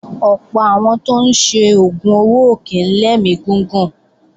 Ọ̀pọ̀ àwọn tó ń ṣe oògùn owó ò kí ń lẹ́mí gígùn